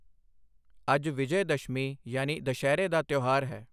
ਅੱਜ ਵਿਜਯਦਸ਼ਮੀ ਯਾਨੀ ਦੁਸ਼ਹਿਰੇ ਦਾ ਤਿਓਹਾਰ ਹੈ।